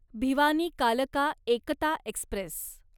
भिवानी कालका एकता एक्स्प्रेस